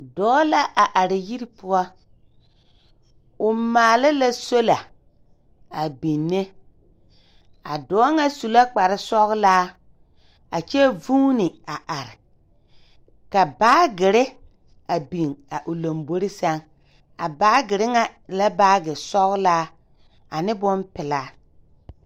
Dɔɔ la are yiri poɔ. O maala sola a binne. A dɔɔ ŋa su la kparesɔgelaa a kyɛ vuuni a are, ka baagere a biŋ a o lambori sɛŋ, a baagere ŋa e la baage sɔgelaa, ane bompelaa.